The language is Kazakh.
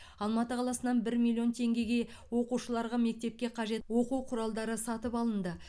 алматы қаласынан бір миллион теңгеге оқушыларға мектепке қажет оқу құралдары сатып алынды